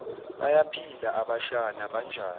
bayaphila abashana banjani